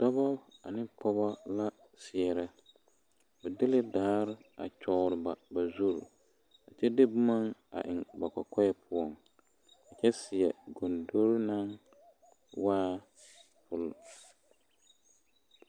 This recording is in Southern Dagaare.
Dɔbɔ ane pɔgɔ la seɛrɛ ba de la daare a kyɔgre ba ba zuri a kyɛ de boma a eŋ kɔkɔɛ poɔŋ kyɛ seɛ gondori naŋ waa fii pol fii.